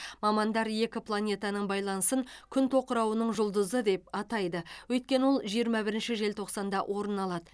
мамандар екі планетаның байланысын күн тоқырауының жұлдызы деп атайды өйткені ол жиырма бірінші желтоқсанда орын алады